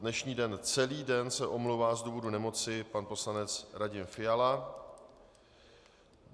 Dnešní den celý den se omlouvá z důvodu nemoci pan poslanec Radim Fiala.